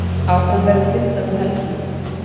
Áfram verður fundað um helgina.